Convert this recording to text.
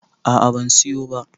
a a ban siyo ba